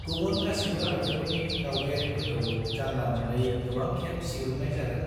गुबुन गासिबो हादोरफोरनि दावबायारिफोरखौ जानला-मोनलायै गोबां खेब सिग्रोमनाय जागोन।